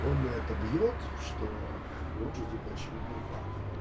он это бьёт что вот же типа очевидный факт